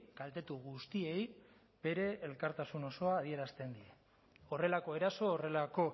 kaltetu guztiei bere elkartasun osoa adierazten die horrelako eraso horrelako